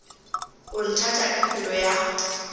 o nthata ka pelo ya